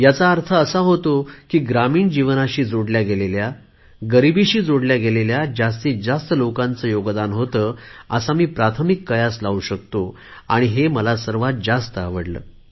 ह्याचा असा अर्थ होतो की ग्रामीण जीवनाशी जोडल्या गेलेल्या गरीबीशी जोडल्या गेलेल्या लोकांचे यात सक्रिय योगदान होते असा मी प्राथमिक कयास लावू शकतो हे मला सर्वात जास्त आवडले